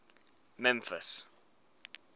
memphis